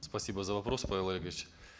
спасибо за вопрос павел олегович